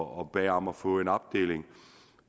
og bad om at få en opdeling